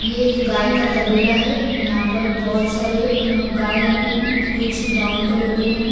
ये एक गाय का तबेला है यहां पर बहोत सारे अं गाय हैं कुछ ब्राउन कलर के हैं।